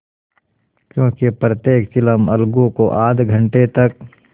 क्योंकि प्रत्येक चिलम अलगू को आध घंटे तक